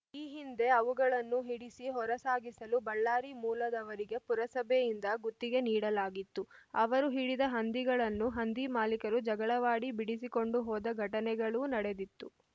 ಈ ಹಿಂದೆ ಅವುಗಳನ್ನು ಹಿಡಿಸಿ ಹೊರಸಾಗಿಸಲು ಬಳ್ಳಾರಿ ಮೂಲದವರಿಗೆ ಪುರಸಭೆಯಿಂದ ಗುತ್ತಿಗೆ ನೀಡಲಾಗಿತ್ತು ಅವರು ಹಿಡಿದ ಹಂದಿಗಳನ್ನು ಹಂದಿ ಮಾಲೀಕರು ಜಗಳವಾಡಿ ಬಿಡಿಸಿಕೊಂಡು ಹೋದ ಘಟನೆಗಳೂ ನಡೆದಿತ್ತು